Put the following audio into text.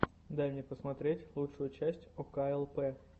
дай мне посмотреть лучшую часть оклп